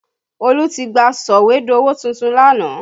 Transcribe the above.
Olu tí gba sọ̀wédowó tuntun lánàá